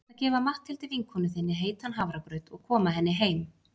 Þú þarft að gefa Matthildi vinkonu þinni heitan hafragraut og koma henni heim.